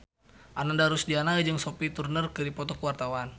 Ananda Rusdiana jeung Sophie Turner keur dipoto ku wartawan